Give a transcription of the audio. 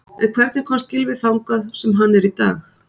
En hvernig komst Gylfi þangað sem hann er dag?